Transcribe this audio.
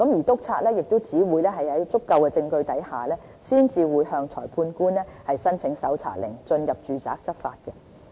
督察只會在有足夠證據下，才會向裁判官申請搜查令，進入住宅執法。